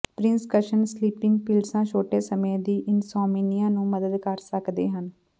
prescription sleeping ਪਿਲਸਾਂ ਛੋਟੇ ਸਮੇਂ ਦੀ ਇਨਸੌਮਨੀਆ ਨੂੰ ਮਦਦ ਕਰ ਸਕਦੇ ਹਨ